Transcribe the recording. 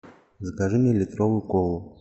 закажи мне литровую колу